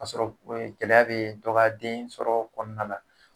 K'a sɔrɔ e gɛlɛya be dɔ ka den sɔrɔ kɔnɔna na